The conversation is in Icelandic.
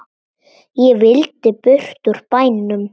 Ég vildi burt úr bænum.